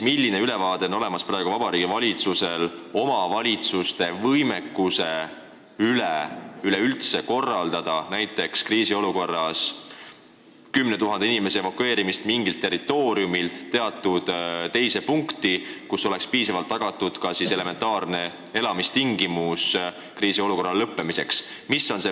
Milline ülevaade Vabariigi Valitsusel on omavalitsuste võimekusest korraldada kriisiolukorras näiteks 10 000 inimese evakueerimist mingilt territooriumilt kuhugi mujale, kus oleks tagatud elementaarsed elamistingimused kuni kriisiolukorra lõppemiseni?